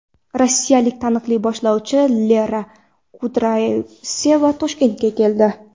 Rossiyalik taniqli boshlovchi Lera Kudryavseva Toshkentga keldi.